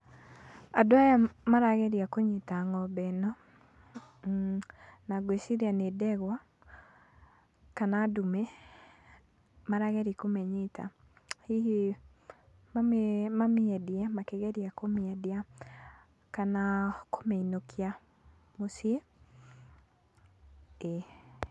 Andũ aya marageria kũnyita ng'ombe ĩno. Na ngwĩciria nĩ ndegwa kana ndume, marageria kũmĩnyita hihi mamĩendie, makigeria kũmĩendia, kana kũmĩinukia mũcii, ĩĩ.